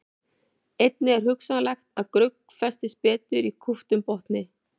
Einnig er hugsanlegt að grugg festist betur í kúptum botni.